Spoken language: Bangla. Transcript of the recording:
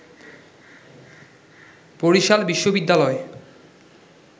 বরিশাল বিশ্ববিদ্যালয়